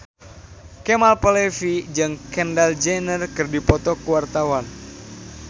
Kemal Palevi jeung Kendall Jenner keur dipoto ku wartawan